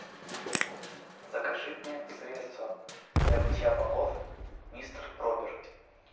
закажи мне средство для мытья полов мистер пропер